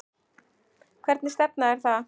Hvernig stefna er það?